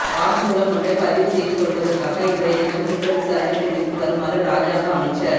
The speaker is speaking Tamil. வாக்குமூலம் ஒன்றை பதிவு செய்து கொள்வதற்காக இன்றையதினம் குற்ற விசாரணை பிரிவிற்கு வருமாறு இராஜாங்க அமைச்சர்